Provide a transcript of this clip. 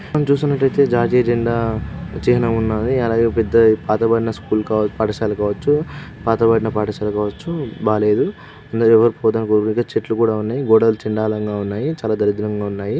మీరు చూస్తున్నట్టయితే జాతీయ జెండా చిహ్నం ఉన్నది. అలాగే పెద్దపాతబడిన స్కూల్ కావ పాఠశాల కావచ్చు. పాతబడిన పాఠశాల కావచ్చు బాలేదు . చెట్ల కూడా ఉన్నాయి. గోడలు చండాలంగా ఉన్నాయి. చాలా దరిద్రంగా ఉన్నాయి.